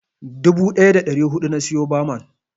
Dubu ɗaya da ɗari huɗu na siya baman.